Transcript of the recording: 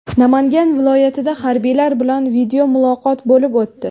Namangan viloyatida harbiylar bilan videomuloqot bo‘lib o‘tdi.